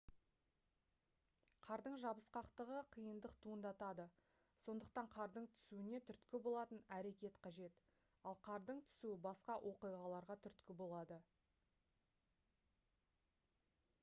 қардың жабысқақтығы қиындық туындатады сондықтан қардың түсуіне түрткі болатын әрекет қажет ал қардың түсуі басқа оқиғаларға түрткі болады